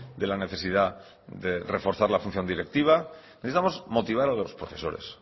de la necesidad de reforzar la función directiva necesitamos motivar a los profesores